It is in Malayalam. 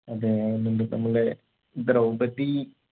അതെ എന്നിട്ട് നമ്മൾടെ ദ്രൗപതി